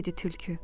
Dedi tülkü.